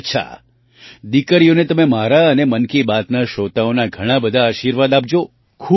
અચ્છા દીકરીઓને તમે મારા અને મન કી બાતના શ્રોતાઓનાઘણા બધા આશીર્વાદ આપજો